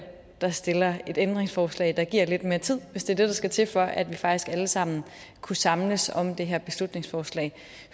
der stiller et ændringsforslag der giver lidt mere tid hvis det der skal til for at vi faktisk alle sammen kunne samles om det her beslutningsforslag